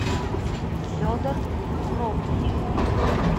федор прокин